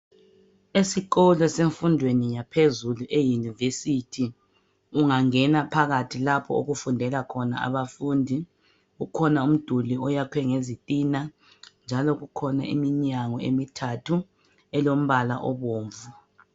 Esikolo semfundweni yaphezulu eyunivesithi ungangena phakathi lapho okufundela khona abafundi kukhona umduli oyakhwe ngezitina njalo kukhona iminyango emithathu elembala obomvu.